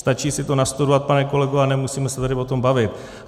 Stačí si to nastudovat, pane kolego, a nemusíme se tady o tom bavit.